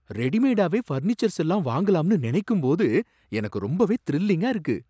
ரெடிமேடாவே furnitures எல்லாம் வாங்கலாம்னு நினைக்கும்போது எனக்கு ரொம்பவே த்ரில்லிங்கா இருக்கு.